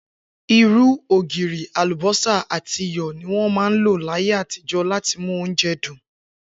Irú, ògirì, àlùbó̩sà àti iyò̩ ni wó̩n ń lò láyé àtijó̩ láti mú oúnje̩ dùn